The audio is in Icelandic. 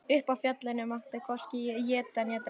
Uppi á fjallinu mátti hvorki eta né drekka.